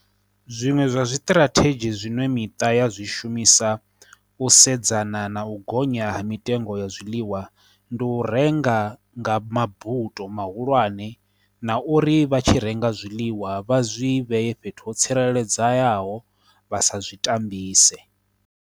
Zwiṅwe zwa zwitirathedzhi zwiṅwe miṱa ya zwishumisa u sedzana na u gonya ha mitengo ya zwiḽiwa, ndi u renga nga mabuto mahulwane na uri vha tshi renga zwiḽiwa vha zwi vhee fhethu ho tsireledzayaho vha sa zwi tambise.